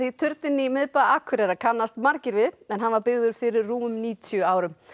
turninn í miðbæ Akureyrar kannast margir við en hann var byggður fyrir rúmum níutíu árum